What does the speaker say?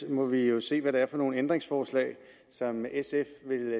vi må jo se hvad det er for nogle ændringsforslag som sf vil